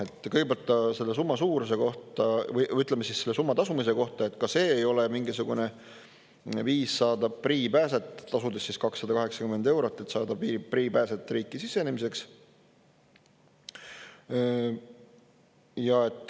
Ahah, kõigepealt ta selle summa suuruse kohta või, ütleme, selle summa tasumise kohta, et ka see ei ole mingisugune viis saada priipääset, tasudest 280 eurot, et saada priipääse riiki sisenemiseks.